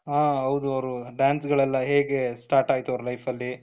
ಹ ಹೌದು ಅವರ dance ಗಳೆಲ್ಲ ಹೇಗೆ start ಆಯ್ತು ಅವರ life ಅಲ್ಲಿ